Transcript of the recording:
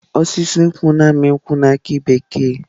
Osisi nkwu na-amị nkwu na aki bekee.